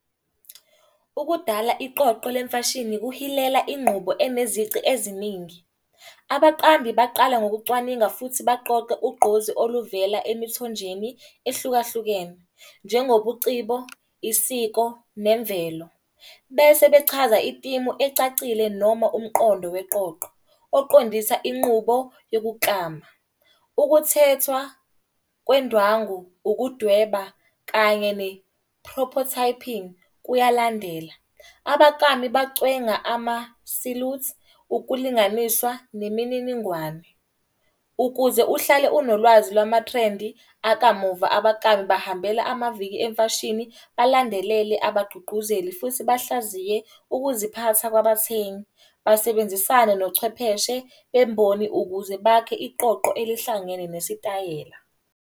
Ukudala iqoqo lemfashini kuhilela ingqubo enezici eziningi. Abaqambi baqala ngokucwaninga futhi baqoqe ugqozi oluvela emithonjeni ehlukahlukene. Njengobucibo, isiko, nemvelo bese bechaza itimu ecacile noma umqondo weqoqo, oqondisa inqubo yokuklama. Ukuthethwa kwendwangu, ukudweba kanye ne-propotyping kuyalandela. Abaklami bacwenga ama-silute ukulinganiswa nemininingwane. Ukuze uhlale unolwazi lwama-trendi akamumva, abaklami bahambela amaviki emfashini, balandelele abagqugquzeli. Futhi bahlaziye ukuziphatha kwabathengi. Basebenzisane nochwepheshe bemboni ukuze bakhe iqoqo elihlangene nesitayela.